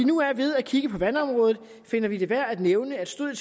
nu er ved at kigge på vandområdet finder vi det værd at nævne at stod